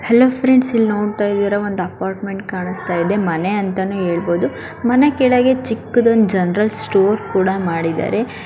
Hello friend ಇಲ್ಲಿ ನೋಡತ್ತಾ ಇದಿರಾ ಒಂದ ಅಪಾರ್ಟ್ಮೆಂಟ್ ಕಾಣಸ್ತಾಯಿದೆ ಮನೆ ಅಂತಾನೇ ಹೇಳಬಹುದು ಮನೆ ಕೆಳಗೆ ಚಿಕ್ಕದೊಂದು ಜನರಲ್ ಸ್ಟೋರ್ ಕೂಡ ಮಾಡಿದ್ದಾರೆ.